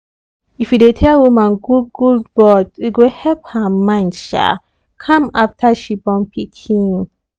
if you dey tell woman good good words e go help her mind um calm after she born pikin.